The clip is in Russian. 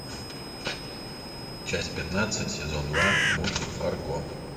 часть пятнадцать сезон два мультик фарго